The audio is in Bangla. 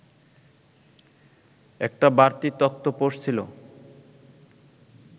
একটা বাড়তি তক্তপোষ ছিল